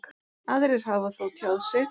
Aðrir hafi þó tjáð sig.